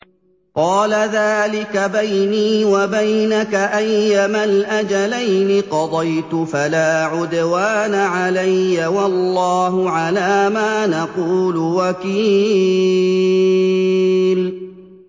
قَالَ ذَٰلِكَ بَيْنِي وَبَيْنَكَ ۖ أَيَّمَا الْأَجَلَيْنِ قَضَيْتُ فَلَا عُدْوَانَ عَلَيَّ ۖ وَاللَّهُ عَلَىٰ مَا نَقُولُ وَكِيلٌ